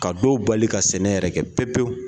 Ka dɔw bali ka sɛnɛ yɛrɛ kɛ pewu pewu.